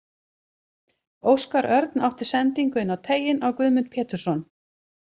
Óskar Örn átti sendingu inn á teiginn á Guðmund Pétursson.